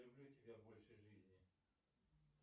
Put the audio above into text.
люблю тебя больше жизни